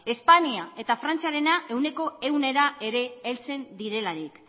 espainia eta frantziarena ehuneko ehunra ere heltzen direlarik